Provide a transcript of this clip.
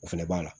O fɛnɛ b'a la